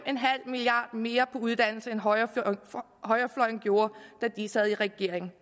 milliard kroner mere på uddannelse end højrefløjen gjorde da de sad i regering